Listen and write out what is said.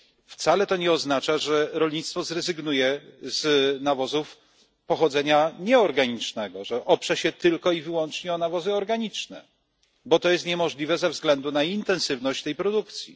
Wcale to nie oznacza, że rolnictwo zrezygnuje z nawozów pochodzenia nieorganicznego, że oprze się tylko i wyłącznie na nawozach organicznych, bo to jest niemożliwe ze względu na intensywność tej produkcji.